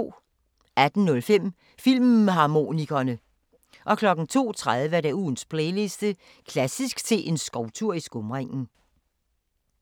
18:05: Filmharmonikerne 02:30: Ugens playliste: Klassisk til en skovtur i skumringen